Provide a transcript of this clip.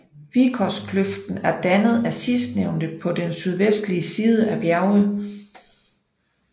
Vikoskløften er dannet af sidstnævnte på den sydvestlige side af bjerget